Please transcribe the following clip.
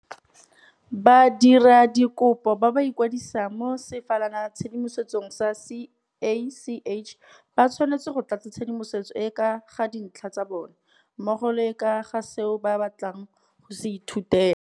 Badiradikopo ba ba ikwadisang mo sefalanatshedimosong sa CACH ba tshwanetse go tlatsa tshedimosetso e e ka ga dintlha tsa bona, mmogo le e e ka ga seo ba batlang go se ithutela.